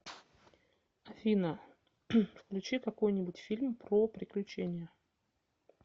афина включи какой нибудь фильм про приключения